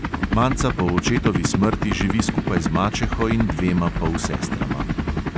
Manca po očetovi smrti živi skupaj z mačeho in dvema polsestrama.